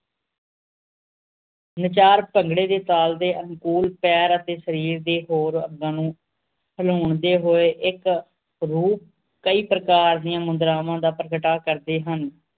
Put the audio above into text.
ਨਚਾਰ ਭੰਗੜੇ ਦੇ ਤਾਲ ਦੇ ਅਨੁਕੂਲ ਪੈਰ ਅਤੇ ਸ਼ਰੀਰ ਦੇ ਹੋਰ ਅੰਗਾਂ ਨੂੰ ਹਿਲਾਉਂਦੇ ਹੋਏ ਇੱਕ ਰੂਹ ਕਈ ਪ੍ਰਕਾਰ ਦੀਆਂ ਮੁੰਦ੍ਰਾਵਾਂ ਦਾ ਪ੍ਰਗਟਾਅ ਕਰਦੇ ਹਨ